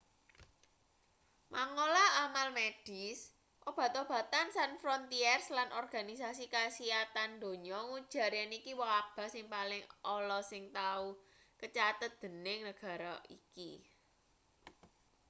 mangola amal medis obat-obatan sans frontieres lan organisasi kasihatan donya ngujar yen iki wabah sing paling ala sing tau kacathet dening negara iki